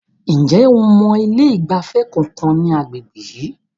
Ǹjẹ́ o mọ ilé ìgbafẹ́ kankan ní agbègbè yìí?